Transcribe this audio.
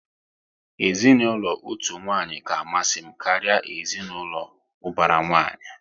Ezinaụlọ otu nwanyi ka amasị m karịa ezinaụlọ ubara nwanyị